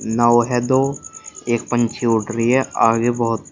नाव है दो एक पंछी उड़ रही है आगे बहोत--